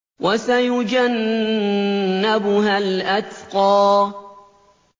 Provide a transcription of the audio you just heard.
وَسَيُجَنَّبُهَا الْأَتْقَى